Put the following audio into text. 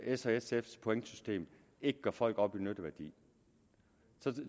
s og sfs pointsystem ikke gør folk op i nytteværdi